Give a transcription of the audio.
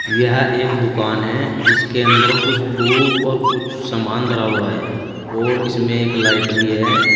यह एक दुकान है इसके अंदर कुछ टुब और कुछ सामान धरा हुआ है और इसमें एक लाइट भी है।